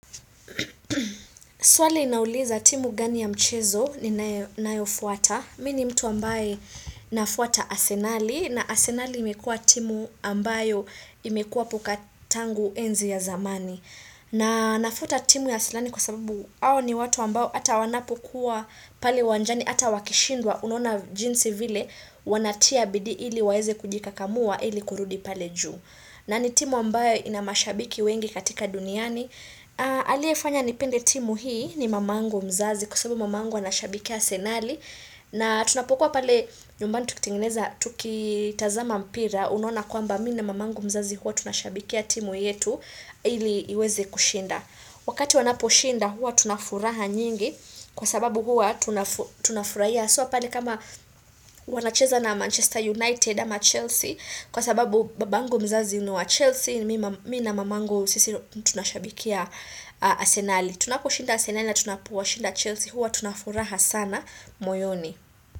Swali inauliza timu gani ya mchezo ni nayonayofuata. Mini mtu ambaye nafuata asenali na asenali imekua timu ambayo imekua pokatangu enzi ya zamani. Na nafuata timu asenali kwa sababuhao ni watu ambao ata wanapokuwa pale uwanjani ata wakishindwa unaona jinsi vile wanatia bidii ili waeze kujika kamua ili kurudi pale juu. Na ni timu ambayo inamashabiki wengi katika duniani aliefanya nipende timu hii ni mamangu mzazi kwa sababu mamangu anashabiki asenali na tunapokuwa pale nyumbani tukitengeneza tuki tazama mpira unaona kwamba mi na mamangu mzazi huwa tunashabikia timu yetu ili iweze kushinda wakati wanaposhinda hua tunafuraha nyingi kwa sababu huwa tunafu tunafurahia haswa pale kama wanacheza na Manchester United ama Chelsea Kwa sababu babangu mzazi ni wa Chelsea Mi na mamangu sisi tunashabikia asenali Tunaposhinda asenali na tunapowashinda Chelsea Huwa tunafuraha sana moyoni.